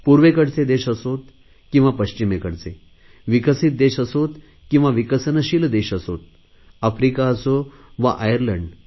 पूर्वेकडचे देश असो वा पश्चिमेकडचे विकसित देश असो वा विकसनशील देश असो आफ्रिका असो वा आयलंड